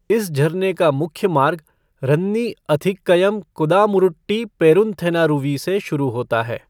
इस झरने का मुख्य मार्ग रन्नी अथिक्कयम कुदामुरुट्टी पेरूनथेनारूवी से शुरू होता है।